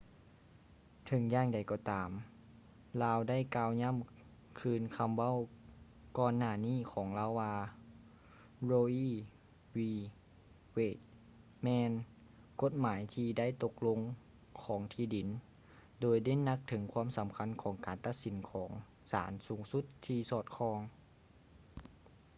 ເຖິງຢ່າງໃດກໍຕາມ ລາວໄດ້ກ່າວຢໍ້າຄືນຄຳເວົ້າກ່ອນໜ້ານີ້ຂອງລາວວ່າ roe v.wade ແມ່ນ ກົດຫມາຍທີ່ໄດ້ຕົກລົງຂອງທີ່ດິນ” ໂດຍເນັ້ນຫນັກເຖິງຄວາມສໍາຄັນຂອງການຕັດສິນຂອງສານສູງສຸດທີ່ສອດຄ່ອງ